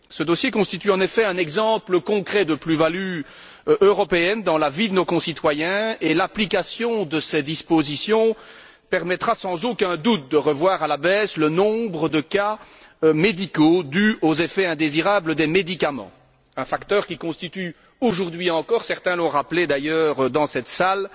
Ce dossier constitue en effet un exemple concret de plus value européenne dans la vie de nos concitoyens, et l'application de ces dispositions permettra sans aucun doute de revoir à la baisse le nombre de cas médicaux dus aux effets indésirables des médicaments, un facteur qui constitue, aujourd'hui encore certains l'ont d'ailleurs rappelé dans cette salle